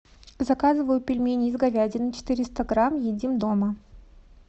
заказываю пельмени из говядины четыреста грамм едим дома